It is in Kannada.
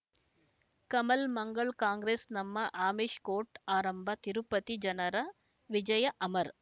ಕಮಲ್ ಮಂಗಳ್ ಕಾಂಗ್ರೆಸ್ ನಮ್ಮ ಆಮಿಷ್ ಕೋರ್ಟ್ ಆರಂಭ ತಿರುಪತಿ ಜನರ ವಿಜಯ ಅಮರ್